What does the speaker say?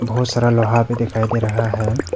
बहुत सारा लोहा भी दिखाई दे रहा है।